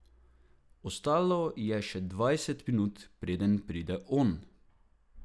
Ostalo je še dvajset minut, preden pride on.